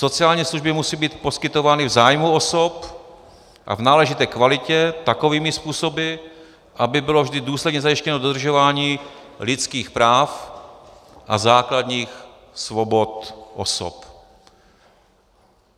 Sociální služby musí být poskytovány v zájmu osob a v náležité kvalitě takovými způsoby, aby bylo vždy důsledně zajištěno dodržování lidských práv a základních svobod osob. -